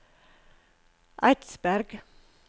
Eidsberg